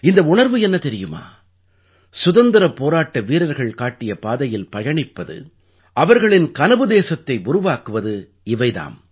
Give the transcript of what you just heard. இந்த உணர்வு என்ன தெரியுமா சுதந்திரப் போராட்ட வீரர்கள் காட்டிய பாதையில் பயணிப்பது அவர்களின் கனவு தேசத்தை உருவாக்குவது இவை தாம்